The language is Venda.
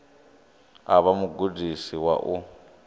u vha mugudisi wa u